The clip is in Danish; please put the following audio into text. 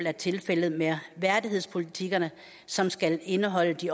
er tilfældet med værdighedspolitikkerne som skal indeholde de